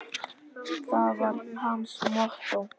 Það var hans mottó.